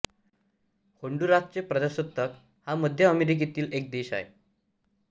होन्डुरासचे प्रजासत्ताक हा मध्य अमेरिकेतील एक देश आहे